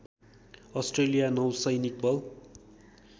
Australia नौसैनिक बल